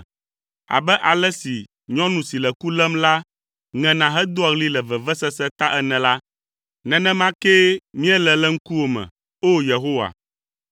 Abe ale si nyɔnu si le ku lém la ŋena hedoa ɣli le vevesese ta ene la, nenema kee míele le ŋkuwò me, O! Yehowa.